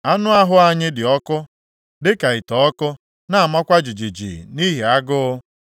Anụ ahụ anyị dị ọkụ dịka ite ọkụ, + 5:10 Ite ọkụ a, bụ nke eji eghe ihe dịka achịcha maọbụ amịkpọ anụ na ihe ndị ọzọ na-amakwa jijiji nʼihi agụụ.